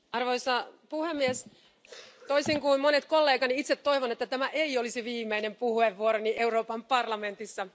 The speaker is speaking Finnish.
Arvoisa puhemies, toisin kuin monet kollegani, itse toivon, että tämä ei olisi viimeinen puheenvuoroni Euroopan parlamentissa.